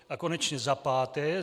A konečně za páté.